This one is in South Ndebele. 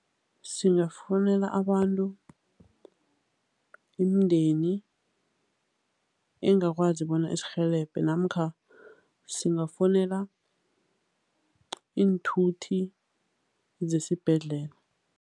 Singafowunela abantu, imindeni engakwazi bona isirhelebhe namkha singafowunela iinthuthi zesibhedlela.